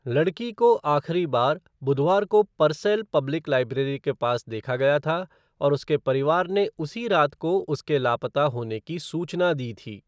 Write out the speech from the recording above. लड़की को आख़िरी बार बुधवार को पर्सेल पब्लिक लाइब्रेरी के पास देखा गया था और उसके परिवार ने उसी रात को उसके लापता होने की सूचना दी थी।